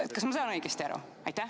Kas ma saan õigesti aru?